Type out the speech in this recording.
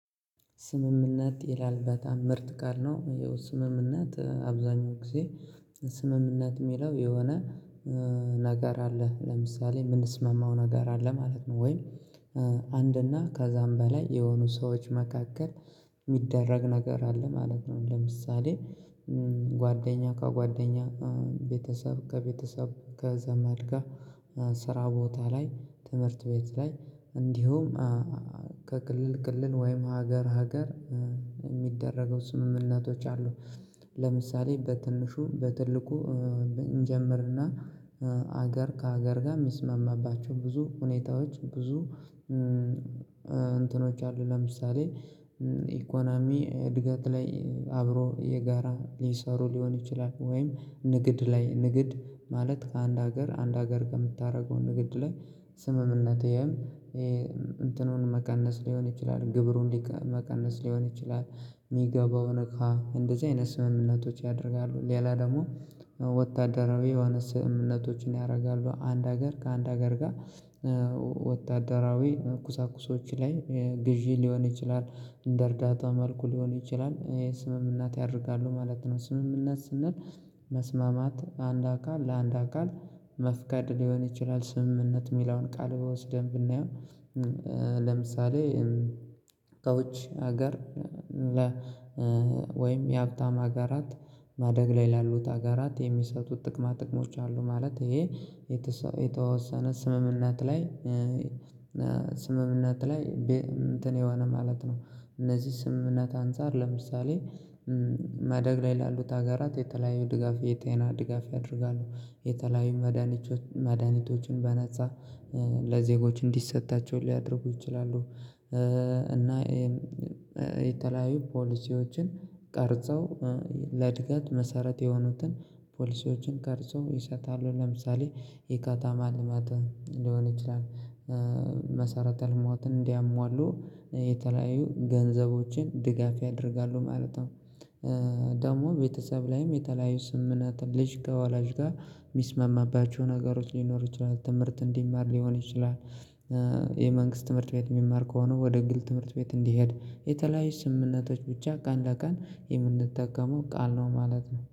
ስምምነት ይላል በጣም ምርጥ ቃል ነው ያው ስምምነት አብዛኛው ጊዜ ስምምነት የሚለው የሆነ ነገር አለ ለምሳሌ የምንስማማው ነገር አለ ማለት ነው። ወይ አንድ እና ከዛም በላይ የሆኑ ሰዎች መካከል የሚደረግ ነገር አለ ማለት ነው። ለምሳሌ ጓደኛ ከጓደኛ ቤተሰብ ከቤተሰብ ከዘመድ ጋር ስራ ቦታ ላይ ትምህርት ቤት ላይ እንዲሁም ከክልል ክልልን ወይም ሀገር ሀገር የሚደረጉ ስምምነቶች አሉ። ለምሳሌ በትንሹ በትልቁ እንጀምር እና ሀገር ከሀገር ጋር የሚስማማባቸው ብዙ ሁኔታዎች ብዙ እንትኖች አሉ። ለምሳሌ ኢኮኖሚ እድገት ላይ አብሮ የጋራ ሊሰሩ ሊሆን ይችላል። ወይም ንግድ ላይ ንግድ ማለት ከአንድ ሀገር አንድ ሀገር ከምታደርገው ንግድ ላይ ስምምነትህም እንትኑን መቀነስ ሊሆን ይችላል ግብሩ እንዲቀነ መቀነስ ሊሆን ይችላል። የሚገባው እቃ እንደዚህ አይነት ስምምነቶች ያደርጋሉ ሌላ ደግሞ ወታደራዊ የሆነ ስምምነቶችን ያደርጋሉ አንድ ሀገር ከአንድ ሀገር ጋር። ወታደራዊ ኩሳኩሶች ላይ ግዢ ሊሆን ይችላል እንደ እርዳታ መልኩ ሊሆን ይችላል ስምምነት ያደርጋሉ ማለት ነው። ስምምነት ስንል መስማማት አንድ አካል ለአንድ አካል መፍቀድ ሊሆን ይችላል ስምምነት የሚለውን ቃል በወስደን ብናየው። ለምሳሌ ከውጭ ሀገር ወይም የሀብታም ሀገራት ማደግ ላይ ላሉት ሀገራት የሚሰጡት ጥቅማ ጥቅሞች አሉ ማለት ይሄ የተወሰነ ስምምነት ላይ። ስምምነት ላይ ቤ እንትን የሆነ ማለት ነው። እነዚህ ስምምነት አንፃር ለምሳሌ ማደግ ላይ ላሉት ሀገራት የተለያዩ ድጋፍ የጤና ድጋፍ ያደርጋሉ የተለያዩ መድሃኒቶችን በነፃ ለዜጎች እንዲሰጣቸው ሊያደርጉ ይችላሉ። እና የተለያዩ ፖሊሲዎችን ቀርጸው ለእድገት መሰረት የሆኑትን ፖሊሲዎችን ቀርጸው ይሰጣሉ ለምሳሌ የከተማ ልማት ሊሆን ይችላል። መሰረተ ልማትን እንዲያሟሉ የተለያዩ ገንዘቦችን ድጋፍ ያደርጋሉ ማለት ነው። ደግሞ ቤተሰብ ላይም የተለያዩ ስምምነት ልጅ ከወላጅ ጋር የሚስማማባቸው ነገሮች ሊኖሩ ይችላሉ ትምህርት እንዲማር ሊሆን ይችላል። የመንግስት ትምህርት ቤት የሚማር ከሆነ ወደ ግል ትምህርት ቤት እንዲሄድ የተለያዩ ስምምነቶች ብቻ ቀን ለቀን የምንጠቀመው ቃል ነው ማለት ነው